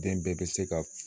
Den bɛɛ bɛ se ka